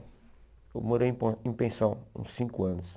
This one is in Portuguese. Eu morei em pon em pensão uns cinco anos.